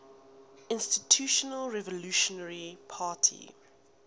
institutional revolutionary party